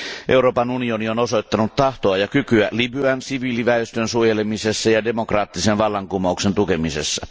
Euroopan unioni on osoittanut tahtoa ja kykyä Libyan siviiliväestön suojelemisessa ja demokraattisen vallankumouksen tukemisessa.